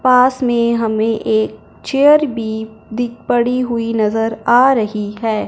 पास में हमें एक चेयर भी दिख पड़ी हुई नज़र आ रही है।